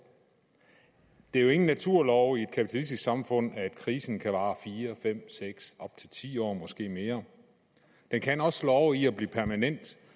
det er jo ingen naturlov i et kapitalistisk samfund at krisen ikke kan vare fire fem seks op til ti år eller måske mere den kan også slå over i at blive permanent